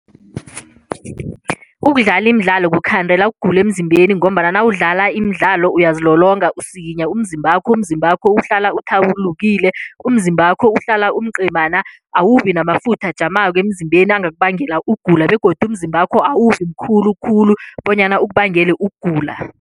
Ukudlala imidlalo kukukhandela ukugula emzimbeni ngombana nawudlala imidlalo uyazilolonga usikinya umzimbakho, umzimbakho uhlala uthabulukile, umzimbakho uhlala umcemana awubi namafutha ajamako emzimbeni angakubangela ukugula begodu umzimbakho awabi mkhulukhulu bonyana ukubangele ukugula.